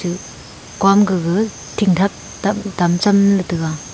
kom gaga tingthak tam cham le taiga.